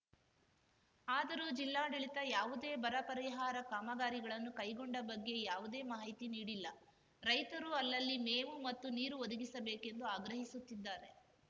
ಆದರೂ ಜಿಲ್ಲಾಡಳಿತ ಯಾವುದೇ ಬರಪರಿಹಾರ ಕಾಮಗಾರಿಗಳನ್ನು ಕೈಗೊಂಡ ಬಗ್ಗೆ ಯಾವುದೇ ಮಾಹಿತಿ ನೀಡಿಲ್ಲ ರೈತರು ಅಲ್ಲಲ್ಲಿ ಮೇವು ಮತ್ತು ನೀರು ಒದಗಿಸಬೇಕೆಂದು ಆಗ್ರಹಿಸುತ್ತಿದ್ದಾರೆ